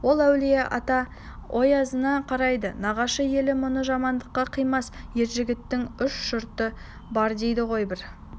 ол әулие-ата оязына қарайды нағашы елі мұны жамандыққа қимас ер жігіттің үш жұрты бар дейді бірі